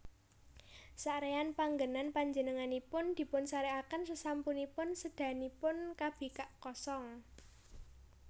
Saréyan panggènan Panjenenganipun dipunsarèkaken sasampunipun sédanipun kabikak kosong